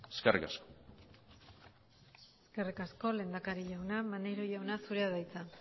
eskerrik asko eskerrik asko lehendakari jauna maneiro jauna zurea da hitza